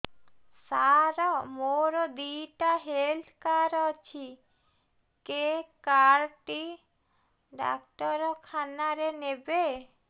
ସାର ମୋର ଦିଇଟା health card ଅଛି କେ କାର୍ଡ ଟି ଡାକ୍ତରଖାନା ରେ ନେବେ